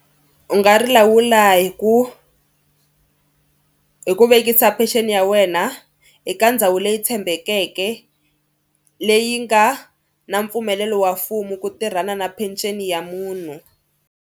U nga ri lawula hi ku hi ku vekisa pension ya wena eka ndhawu leyi tshembekeke leyi nga na mpfumelelo wa mfumo ku tirhana na peceni ya munhu.